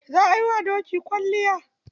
Za a yiwa doki kwalliya.